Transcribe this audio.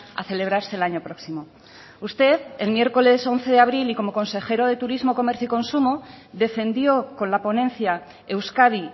a celebrarse el año próximo usted el miércoles once de abril y como consejero de turismo comercio y consumo defendió con la ponencia euskadi